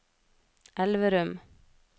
Elverum